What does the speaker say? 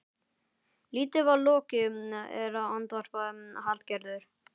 Lítið var lokið er, andvarpaði Hallgerður.